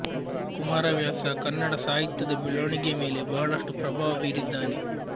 ಕುಮಾರವ್ಯಾಸ ಕನ್ನಡ ಸಾಹಿತ್ಯದ ಬೆಳವಣಿಗೆಯ ಮೇಲೆ ಬಹಳಷ್ಟು ಪ್ರಭಾವ ಬೀರಿದ್ದಾನೆ